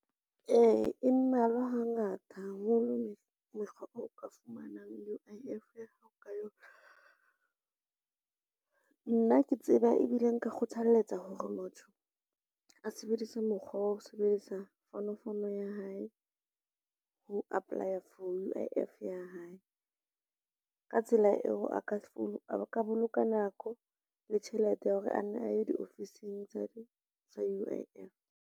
Ee e mmalwa hangata haholo mokgwa o ka fumanang U_I_F ya hao ka yona. Nna ke tseba ebile nka kgothaletsa hore motho a sebedise mokgwa wa ho sebedisa fonofonong ya hae ho apply-a for U_I_F ya hae. Ka tsela eo a ka boloka nako le tjhelete ya hore a nne a ye diofising tsa U_I_F.